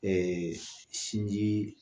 sinji